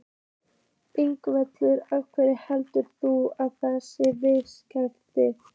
Ingveldur: Af hverju heldur þú að það sé viðkvæmt?